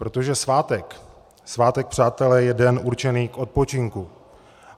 Protože svátek, svátek, přátelé, je den určený k odpočinku.